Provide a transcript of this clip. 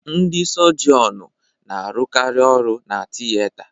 Ndị sọgionu n'arukari ọrụ na-tiyeta